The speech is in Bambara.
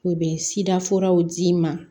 U bɛ sida furaw d'i ma